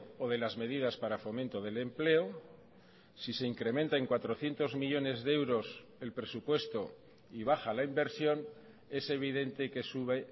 o de las medidas para fomento del empleo si se incrementa en cuatrocientos millónes de euros el presupuesto y baja la inversión es evidente que sube